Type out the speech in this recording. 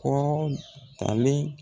Kɔɔtalen